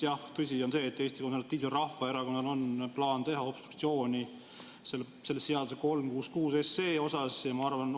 Jah, tõsi on see, et Eesti Konservatiivsel Rahvaerakonnal on plaan teha obstruktsiooni selle seaduse 366 pärast.